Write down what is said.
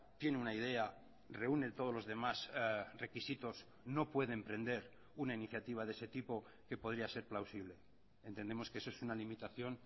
tiene una idea reúne todos los demás requisitos no puede emprender una iniciativa de ese tipo que podría ser plausible entendemos que eso es una limitación